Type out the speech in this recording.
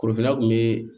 Korofina kun bɛ